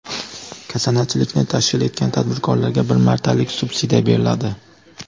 Kasanachilikni tashkil etgan tadbirkorlarga bir martalik subsidiya beriladi.